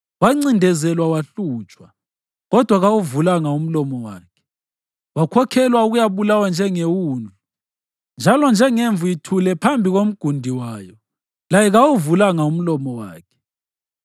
Wancindezelwa wahlutshwa, kodwa kawuvulanga umlomo wakhe; wakhokhelwa ukuyabulawa njengewundlu, njalo njengemvu ithule phambi komgundi wayo, laye kawuvulanga umlomo wakhe.